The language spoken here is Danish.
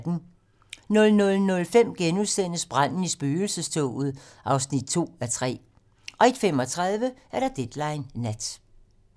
00:05: Branden i spøgelsestoget (2:3)* 01:35: Deadline nat